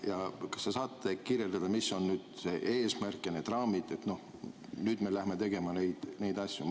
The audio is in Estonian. Kas te saate kirjeldada, mis on eesmärk ja need raamid, et nüüd me lähme tegema neid asju?